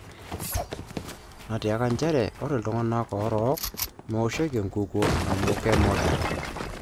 'Natiaka njere ore ltunganak orok mewoshoki enkukuo amu kemoda.